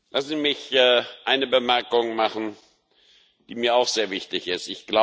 Lassen Sie mich eine Bemerkung machen, die mir auch sehr wichtig ist.